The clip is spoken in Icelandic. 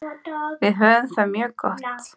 Við höfum það mjög gott.